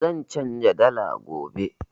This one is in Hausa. Zan canza dala gobe.